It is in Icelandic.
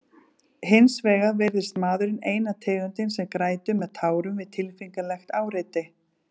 Hins vegar virðist maðurinn eina tegundin sem grætur með tárum við tilfinningalegt áreiti.